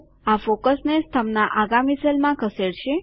આ ફોકસને સ્તંભના આગામી સેલમાં ખસેડશે